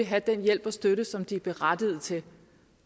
have den hjælp og støtte som de er berettiget til